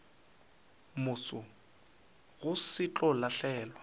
moso go se tlo lahlelwa